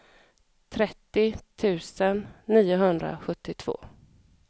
trettio tusen niohundrasjuttiotvå